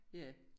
Ja